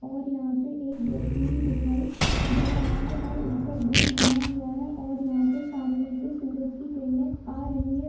और यहाँ पे एक व्यक्ति भी दिखाई दे रहा है और ऊपर ब्रिज बना हुआ है और यहाँ पे सामने से सूरज की किरणें आ रही हैं।